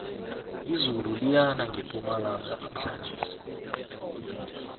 izulu liyana ngepumalanga namhlanjesi